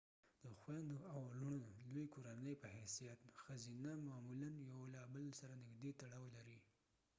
د خویندو او لونړو لوی کورنۍ په حيثيت ښځینه معمولا یو له بل سره نږدې تړاو لري